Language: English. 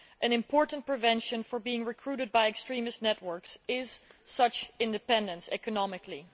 An important prevention for being recruited by extremist networks is such independence economically.